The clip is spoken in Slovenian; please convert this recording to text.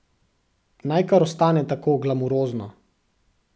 Naj kar ostane tako glamurozno.